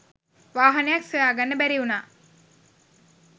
වාහනයක් සොයාගන්න බැරිවුණා.